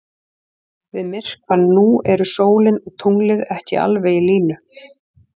Við myrkvann nú eru sólin og tunglið ekki alveg í línu.